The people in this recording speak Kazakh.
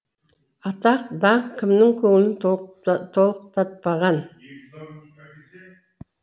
атақ даңқ кімнің көңілін толқытпаған